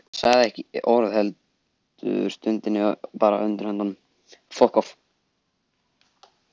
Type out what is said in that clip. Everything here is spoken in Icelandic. Hann sagði ekki orð heldur, stundi bara undir höndunum.